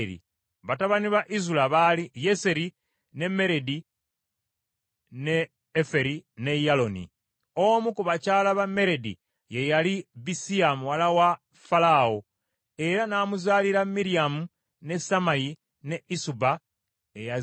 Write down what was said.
Batabani ba Ezula baali Yeseri, ne Meredi, ne Eferi, ne Yaloni. Omu ku bakyala ba Meredi ye yali Bisiya muwala wa Falaawo, era n’amuzaalira Miryamu, ne Sammayi, ne Isuba eyazaala Esutemoa.